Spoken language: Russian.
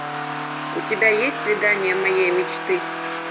у тебя есть свидание моей мечты